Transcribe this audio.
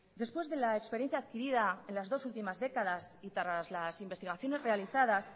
después de la experiencia adquirida en las dos últimas décadas y tras las investigaciones realizadas